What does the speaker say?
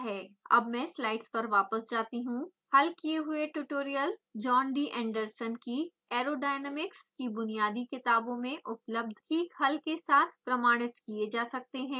अब मैं स्लाइड्स पर वापस जाती हूँ हल किये हुए ट्यूटोरियल जॉन डी एंडरसन की aerodynamics की बुनियादी किताबों में उपलब्ध ठीक हल के साथ प्रमाणित किये जा सकते हैं